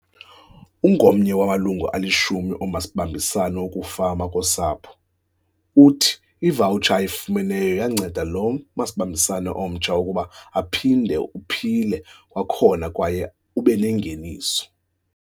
Ungomnye wamalungu alishumi omasibambisane wokufama kosapho, uthi ivawutsha ayifumeneyo yanceda lo masibambisane omtsha ukuba uphinde uphile kwakhona kwaye ubenengeniso.